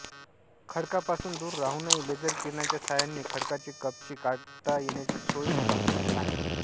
खडकापासून दूर राहूनही लेझर किरणाच्या सहाय्याने खडकाचे कपचे काढता येण्याची सोय या बग्गीत आहे